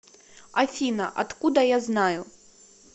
афина откуда я знаю